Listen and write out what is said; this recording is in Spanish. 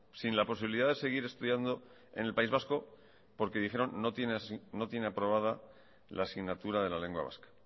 sin la posibilidad de seguir estudiando en el país vasco porque dijeron no tiene aprobada la asignatura de la lengua vasca